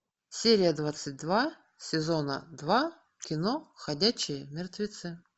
серия двадцать два сезона два кино ходячие мертвецы